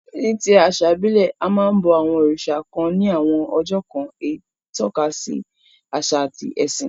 Ní ti àsà ìbílẹ̀, a máa n bo àwon òrìsà kan ni àwon ọjọ́ kan, eyí tókasi àsà àti ẹ̀sìn